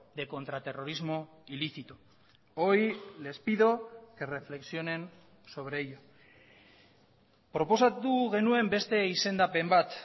de contraterrorismo ilícito hoy les pido que reflexionen sobre ello proposatu genuen beste izendapen bat